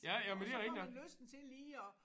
Og så får man lysten til lige at